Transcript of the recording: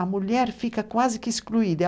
A mulher fica quase que excluída.